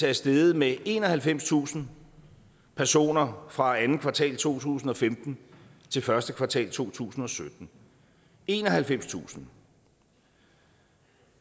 er steget med enoghalvfemstusind personer fra andet kvartal to tusind og femten til første kvartal to tusind og sytten enoghalvfemstusind